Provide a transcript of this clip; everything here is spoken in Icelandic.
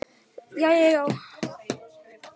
Ég man þetta svo vel.